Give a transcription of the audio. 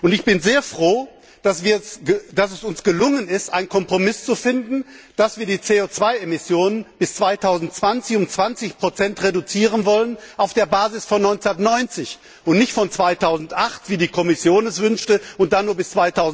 Ich bin sehr froh, dass es uns gelungen ist, einen Kompromiss zu finden, dass wir die CO 2 Emissionen bis 2020 um 20 reduzieren wollen, und zwar auf der Basis von 1990 und nicht von 2008, wie die Kommission es wünschte und dann nur bis